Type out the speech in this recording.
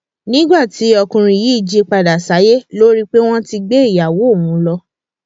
nígbà tí ọkùnrin yìí jí padà sáyé ló rí i pé wọn ti gbé ìyàwó òun lọ